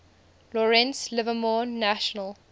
lawrence livermore national